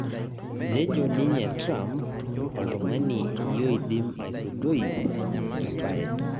Nejo ninye Trump oltung'ani iodim aisudoi ebae